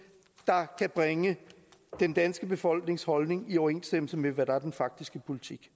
der kan bringe den danske befolknings holdning i overensstemmelse med hvad der er den faktiske politik